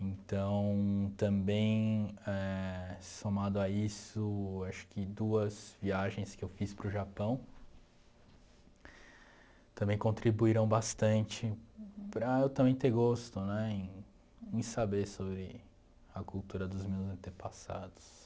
Então, também eh, somado a isso, acho que duas viagens que eu fiz para o Japão também contribuíram bastante para eu também ter gosto né em em saber sobre a cultura dos meus antepassados.